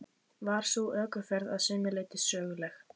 Var sú ökuferð að sumu leyti söguleg.